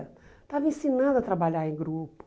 Estava ensinando a trabalhar em grupo.